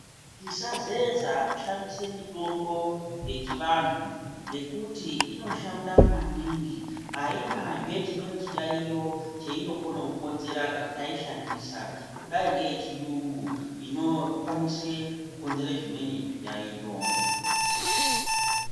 Tisazeza kushandisa mitombo yechianthu ngekuti inoshanda maningi ainazve chimweni chiyaiyo cheinokona kukonzera kana taishandisa kudai neyechiyungu inokwanisa kukonzera zvimweni zviyaiyo.